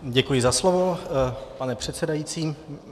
Děkuji za slovo, pane předsedající.